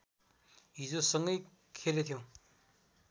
हिजो सँगै खेलेथ्यौं